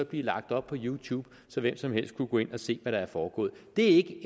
blive lagt op på youtube så hvem som helst kunne gå ind og se hvad der er foregået det